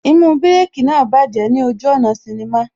Īmú Bírèkī náà bájẹ̀ ní ojú ọ̀nà sinnimá